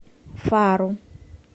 фару